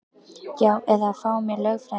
Já eða að fá mér lögfræðing.